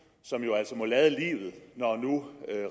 som jo altså må lade livet når nu